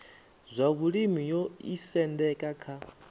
zwa vhulimi yo isendeka kha